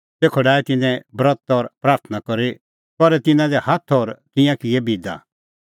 तेखअ डाहै तिन्नैं ब्रत और प्राथणां करी करै तिन्नां दी हाथ और तिंयां किऐ बिदा